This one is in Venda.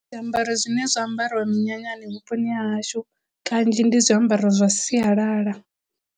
Zwiambaro zwine zwa ambariwa minyanyani vhuponi ha hashu kanzhi ndi zwiambaro zwa sialala.